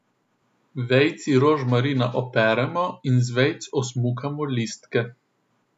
Vejici rožmarina operemo in z vejic osmukamo listke.